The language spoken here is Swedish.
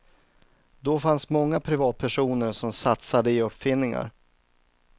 Då fanns många privatpersoner som satsade i uppfinningar.